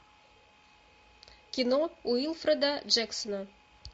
кино уилфреда джексона